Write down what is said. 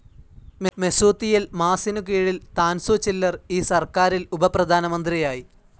Mesut യിൽമാസിനു കീഴിൽ Tansu Ciller, ഈ സർക്കാരിൽ ഉപപ്രധാനമന്ത്രിയായി.